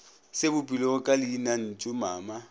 se bopilwego ka leinantšu mama